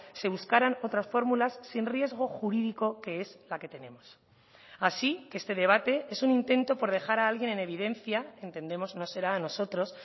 se buscaran otras fórmulas sin riesgo jurídico que es la que tenemos así que este debate es un intento por dejar a alguien en evidencia entendemos no será a nosotros